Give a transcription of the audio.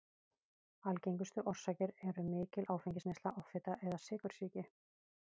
Algengustu orsakir eru mikil áfengisneysla, offita eða sykursýki.